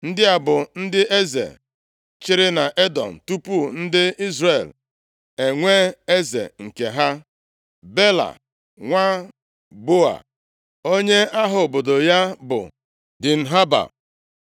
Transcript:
Ndị a bụ ndị eze chịrị nʼEdọm tupu ndị Izrel enwee eze nke ha. Bela nwa Beoa, onye aha obodo ya bụ Dinhaba.